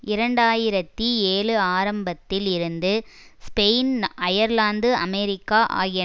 இரண்டு ஆயிரத்தி ஏழு ஆரம்பத்தில் இருந்து ஸ்பெயின் அயர்லாந்து அமெரிக்கா ஆகிய